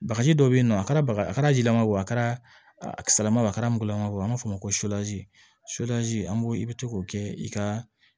Bagaji dɔ be yen nɔ a kɛra baga a jilama ye o a kɛra ama a kɛra mɔgɔlamaw ye an b'a fɔ o ma ko an b'o i bi to k'o kɛ i ka